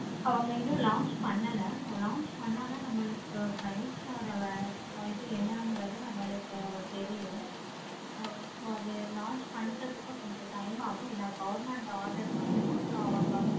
அவங்க இன்னு launch பண்ணல. அவங்க launch பண்ணத்தான் நமக்கு price ஓட இது என்னாகிறது நம்மளுக்கு price ஓட இது என்னாகிறது நம்மளுக்கு தெரியும். so அது launch பண்றதுக்கு கொஞ்சம் time ஆகும். என government order போடணும்.